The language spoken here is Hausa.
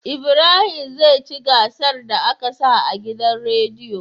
Ibrahim zai ci gasar da aka sa a gidan rediyo